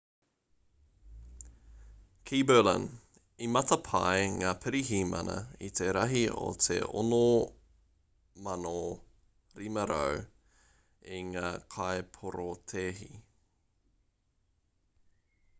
ki berlin i matapae ngā pirihimana i te rahi o te 6,500 o ngā kaiporotēhi